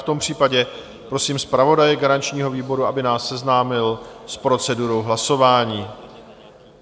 V tom případě prosím zpravodaje garančního výboru, aby nás seznámil s procedurou hlasování.